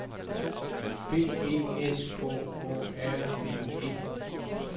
B E S K Å R N E